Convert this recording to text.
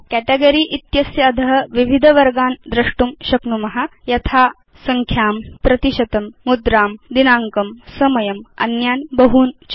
category इत्यस्य अध विविध वर्गान् द्रष्टुं शक्नुम यथा संख्या प्रतिशतं मुद्रां दिनाङ्कं समयं अन्यान् बहून् च